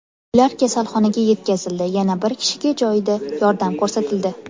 Ular kasalxonaga yetkazildi, yana bir kishiga joyida yordam ko‘rsatildi.